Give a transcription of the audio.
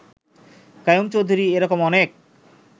কাইয়ুম চৌধুরী…এ রকম অনেক